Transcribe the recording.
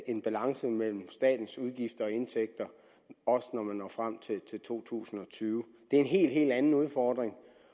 en balance mellem statens udgifter og indtægter også når vi når frem til to tusind og tyve det er en helt helt anden udfordring